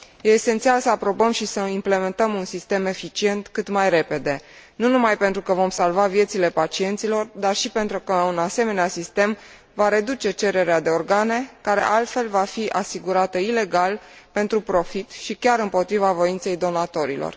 Este esențial să aprobăm și să implementăm un sistem eficient cât mai repede, nu numai pentru că vom salva viețile pacienților, dar și pentru că un asemenea sistem va reduce cererea de organe care, altfel, va fi asigurată ilegal pentru profit și chiar împotriva voinței donatorilor.